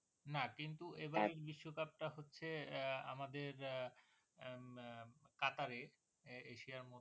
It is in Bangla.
না কিন্তু এবারের বিশ্বকাপ টা হচ্ছে আহ আমাদের আহ আহ কাতারে, এশিয়ার মধ্যে ।